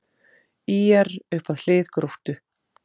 ÍR upp að hlið Gróttu